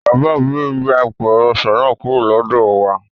Bàbá òbí mi gbé apẹ̀rẹ̀ ọsàn náà kúrò lọ́dọ̀ wà